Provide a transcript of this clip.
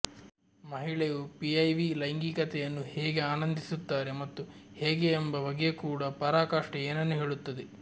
ಮಹಿಳೆಯು ಪಿಐವಿ ಲೈಂಗಿಕತೆಯನ್ನು ಹೇಗೆ ಆನಂದಿಸುತ್ತಾರೆ ಮತ್ತು ಹೇಗೆ ಎಂಬ ಬಗ್ಗೆ ಕೂಡ ಪರಾಕಾಷ್ಠೆ ಏನನ್ನೂ ಹೇಳುತ್ತದೆ